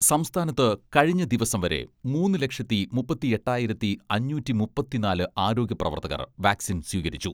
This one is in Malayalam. സംസ്ഥാനത്ത് കഴിഞ്ഞ ദിവസം വരെ മൂന്ന് ലക്ഷത്തി മുപ്പത്തിയെട്ടായിരത്തി അഞ്ഞൂറ്റി മുപ്പത്തിനാല് ആരോഗ്യ പ്രവർത്തകർ വാക്സിൻ സ്വീകരിച്ചു.